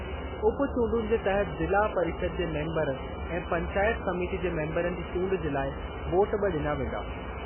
उपचूंडुनि जे तहत ज़िला परिषद जे मेंबरु ऐं पंचायत समिति जे मेंबरनि जी चूंड जे लाइ वोट बि डि॒ना वेंदा।